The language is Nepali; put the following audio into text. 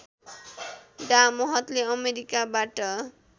डा महतले अमेरिकाबाट